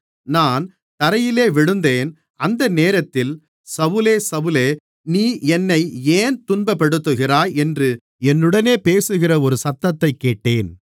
நான் தரையிலே விழுந்தேன் அந்தநேரத்தில் சவுலே சவுலே நீ என்னை ஏன் துன்பப்படுத்துகிறாய் என்று என்னுடனே பேசுகிற ஒரு சத்தத்தைக் கேட்டேன்